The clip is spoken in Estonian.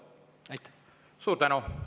Suur tänu!